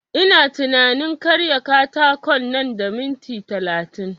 Ina tunanin karya katakon nan da minit talatin